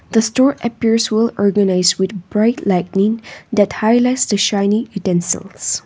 the store appears well organised with bright lighting that highlights the shining utensils.